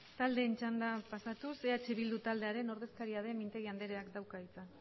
taldeen txandara pasatuz eh bildu taldearen ordezkaria den mintegi andereak dauka hitza